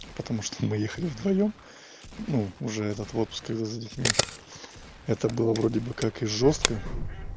потому что мы ехали вдвоём ну уже этот в отпуск и за детьми это было вроде бы как и жёстко